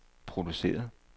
produceret